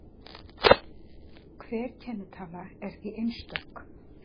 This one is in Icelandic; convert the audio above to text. Hver kennitala er því einstök.